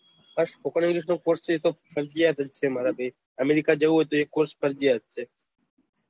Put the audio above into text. હા spokenenglish નો course ફરજિયાત છે મારા ભાઈ અમેરિકા જવું હોય તો એ course ફરજિયાત છે